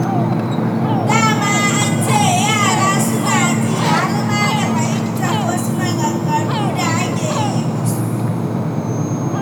Da ma an ce yara suna ji har ma da fahimtar wasu maganganu da ake yi musu.